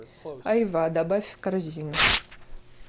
айва добавь в корзину